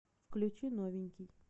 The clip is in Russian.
включи новенький